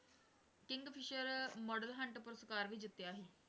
Kingfisher model hunt ਪੁਰਸਕਾਰ ਵੀ ਜਿੱਤਿਆ ਸੀ,